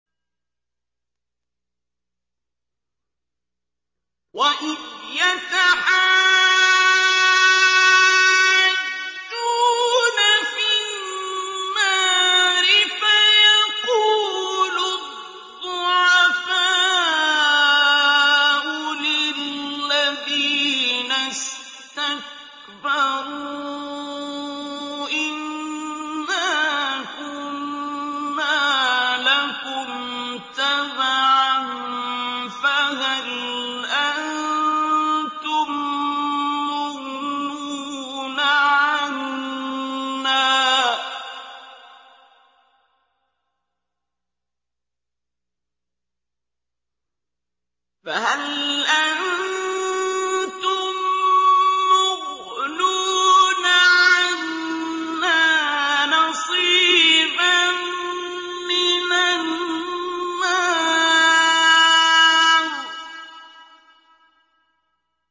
وَإِذْ يَتَحَاجُّونَ فِي النَّارِ فَيَقُولُ الضُّعَفَاءُ لِلَّذِينَ اسْتَكْبَرُوا إِنَّا كُنَّا لَكُمْ تَبَعًا فَهَلْ أَنتُم مُّغْنُونَ عَنَّا نَصِيبًا مِّنَ النَّارِ